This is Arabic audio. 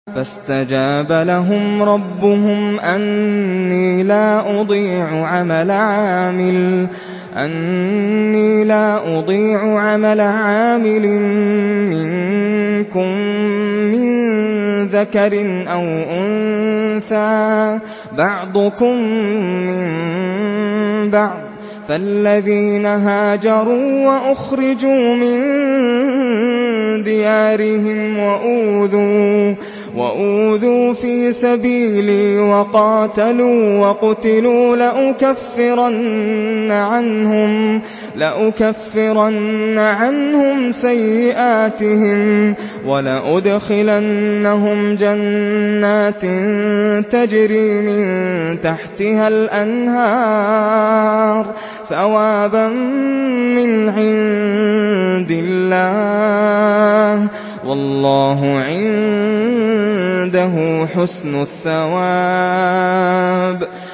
فَاسْتَجَابَ لَهُمْ رَبُّهُمْ أَنِّي لَا أُضِيعُ عَمَلَ عَامِلٍ مِّنكُم مِّن ذَكَرٍ أَوْ أُنثَىٰ ۖ بَعْضُكُم مِّن بَعْضٍ ۖ فَالَّذِينَ هَاجَرُوا وَأُخْرِجُوا مِن دِيَارِهِمْ وَأُوذُوا فِي سَبِيلِي وَقَاتَلُوا وَقُتِلُوا لَأُكَفِّرَنَّ عَنْهُمْ سَيِّئَاتِهِمْ وَلَأُدْخِلَنَّهُمْ جَنَّاتٍ تَجْرِي مِن تَحْتِهَا الْأَنْهَارُ ثَوَابًا مِّنْ عِندِ اللَّهِ ۗ وَاللَّهُ عِندَهُ حُسْنُ الثَّوَابِ